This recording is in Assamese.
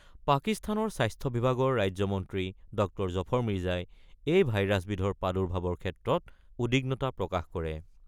পাকিস্তানৰ স্বাস্থ্য বিভাগৰ ৰাজ্য মন্ত্ৰী ড জফৰ মিৰ্জাই এই ভাইৰাছবিধৰ প্ৰাদুৰ্ভাৱৰ ক্ষেত্ৰত উদ্বিগ্নতা প্ৰকাশ কৰে।